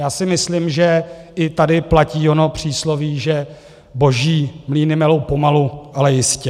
Já si myslím, že i tady platí ono přísloví, že boží mlýny melou pomalu, ale jistě.